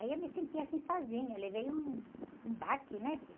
Aí eu me senti que assim sozinha, levei um baque, né, filha?